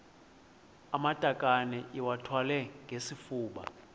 amatakane iwathwale ngesifuba